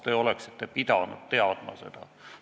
Te oleksite pidanud seda teadma.